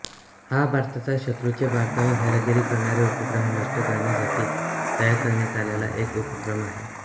हा भारताचा शत्रुचे भारतावर हेरगिरी करणारे उपग्रह नष्ट करण्यासाठी तयार करण्यात आलेला एक उपक्रम आहे